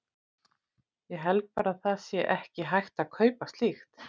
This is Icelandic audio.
Ég held bara að það sé ekki hægt að kaupa slíkt.